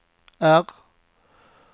R